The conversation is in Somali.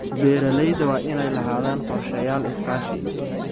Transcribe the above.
Beeralayda waa inay lahaadaan qorshayaal iskaashi.